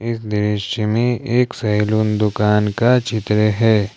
इस दृश्य में एक सैलून दुकान का चित्र है।